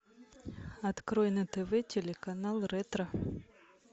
открой на тв телеканал ретро